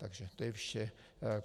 Takže to je vše.